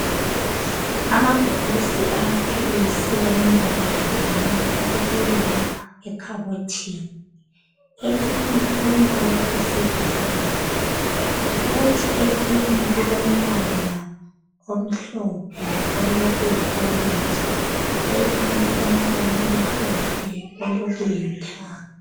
Amabhokisi amaphilisi alembala ehlukeneyo abekiwe lapha ekhabothini elinye lilombala oyisibhakabhaka kuthi elinye lilombala omhlophe olokuyi orange elinye lilombala omhlophe olokulithanga .